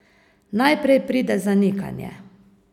Najprej pride zanikanje ...